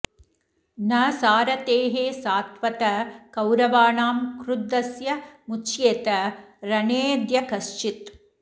न सारथेः सात्वत कौरवाणां क्रुद्धस्य मुच्येत रणेऽद्य कश्चित्